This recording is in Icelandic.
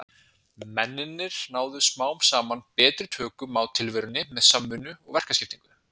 Mennirnir náðu smám saman betri tökum á tilverunni með samvinnu og verkaskiptingu.